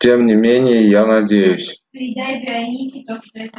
тем не менее я надеюсь